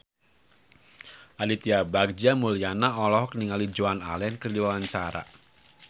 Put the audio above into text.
Aditya Bagja Mulyana olohok ningali Joan Allen keur diwawancara